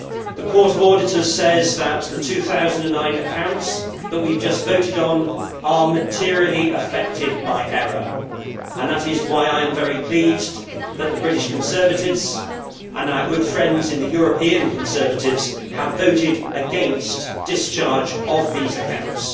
The Court of Auditors says that the 2009 accounts, on which we have just voted, are materially affected by error and that is why I am very pleased that the British Conservatives and our good friends in the European Conservatives have voted against discharge of these accounts.